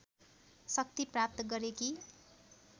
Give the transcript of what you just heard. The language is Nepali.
शक्ति प्राप्त गरेकी